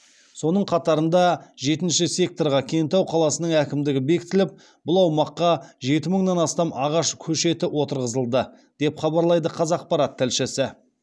соның қатарында жетінші секторға кентау қаласының әкімдігі бекітіліп бұл аумаққа жеті мыңнан астам ағаш көшеті отырғызылды деп хабарлайды қазақпарат тілшісі